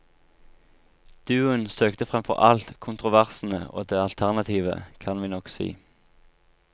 Duoen søkte fremfor alt kontroversene og det alternative, kan vi nok si.